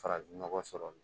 Farafinnɔgɔ sɔrɔ